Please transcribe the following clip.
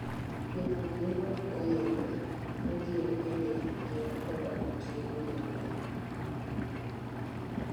Jopur ne ok ong'eyo ni gin bende gin koda ratiro mar gi.